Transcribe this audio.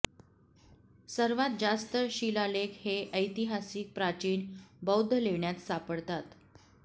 सर्वात जास्त शिलालेख हे ऐतिहासिक प्राचीन बौद्ध लेण्यात सापडतात